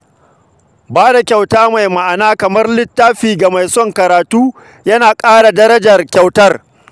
Ba da kyauta mai ma’ana kamar littafi ga mai son karatu yana ƙara darajar kyautar.